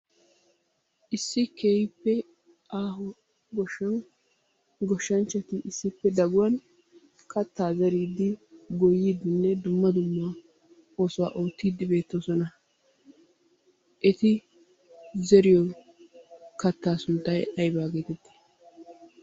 Issi keehippe aaho goshshaawu goshshaananchatti issippe dagguwan kattaa zeridi goyidinne dumma dumma oosuwa oottidi beettoosona. Eti zeriyo kattaa sunttay ayba geetetti?